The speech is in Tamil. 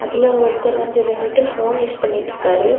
இதுல ஒருத்தர் வந்து நின்னுட்டு போன் யூஸ் பண்ணிட்டு இருக்காரு.